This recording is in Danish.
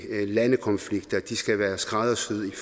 landes konflikter de skal være skræddersyet